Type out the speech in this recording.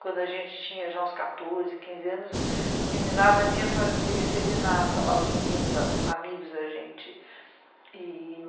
Quando a gente tinha já uns quatorze, quinze anos, a meninada vinha fazer serenata lá, os meninos amigos da gente.